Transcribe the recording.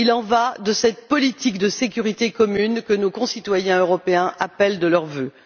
Il y va de cette politique de sécurité commune que nos concitoyens européens appellent de leurs vœux.